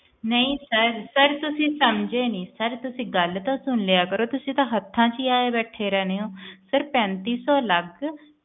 ਤੁਸੀਂ ਸੰਜੇ ਨਹੀਂ sir ਤੁਸੀਂ ਗੱਲ ਤਾਂ ਸੁਨ ਲਿਆ ਕਰੋ ਤੁਸੀਂ ਤਾਂ ਹੱਥਾਂ ਚੀ ਆਏ ਬੈਠੇ ਰਹਿਣੇ ਊ ਪੈਂਤੀ ਸੌ ਅਲਗ